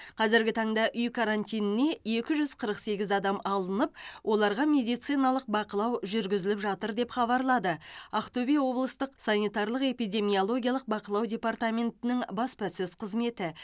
қазіргі таңда үй карантиніне екі жүз қырық сегіз адам алынып оларға медициналық бақылау жүргізіліп жатыр деп хабарлады ақтөбе облыстық санитариялық эпидемиологиялық бақылау департаментінің баспасөз қызметі